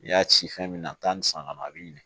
N'i y'a ci fɛn min na taa ni san kɔnɔ a bi ɲina